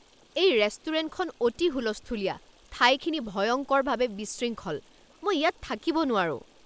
এই ৰেষ্টুৰেণ্টখন অতি হুলস্থূলীয়া, ঠাইখিনি ভয়ংকৰভাৱে বিশৃংখল, মই ইয়াত থাকিব নোৱাৰোঁ।